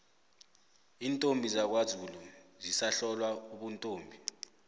iintombi zakwazulu zisahlolwa ubuntombi